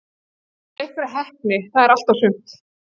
Okkur vantar bara einhverja heppni- það er allt og sumt.